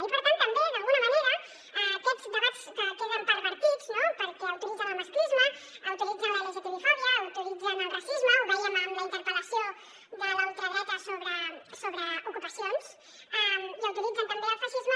i per tant també d’alguna manera aquests debats queden pervertits no perquè autoritzen el masclisme autoritzen la lgtbifòbia autoritzen el racisme ho vèiem amb la interpel·lació de la ultradreta sobre ocupacions i autoritzen també el feixisme